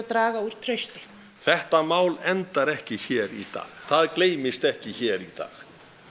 draga úr trausti þetta mál endar ekki hér í dag það gleymist ekki hér í dag